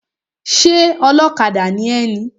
Ṣé ọlọ́kadà ni ẹ ni?